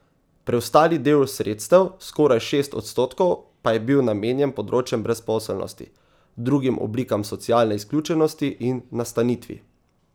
Preostali del sredstev, skoraj šest odstotkov, pa je bil namenjen področjem brezposelnosti, drugim oblikam socialne izključenosti in nastanitvi.